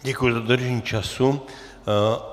Děkuji za dodržení času.